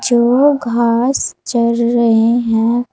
वो घास चर रहे हैं।